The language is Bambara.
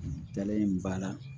Dalen b'a la